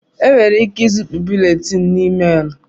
Enwere ike izipu búlétin na ịméélù